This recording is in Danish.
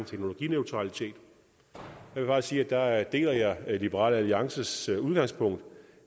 teknologineutralitet jeg vil bare sige at der deler jeg liberal alliances udgangspunkt